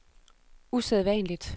usædvanligt